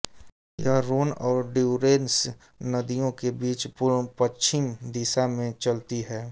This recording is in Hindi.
यह रोन और ड्यूरेंस नदियों के बीच पूर्वपश्चिम दिशा में चलती है